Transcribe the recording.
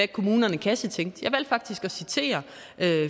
kommunerne kassetænkte jeg valgte faktisk at citere